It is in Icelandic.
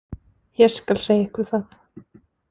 Ég skal segja ykkur það.